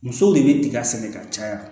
Musow de bɛ tiga sɛnɛ ka caya